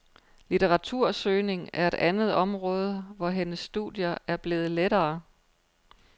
Litteratursøgning er et andet område, hvor hendes studier er blevet lettere.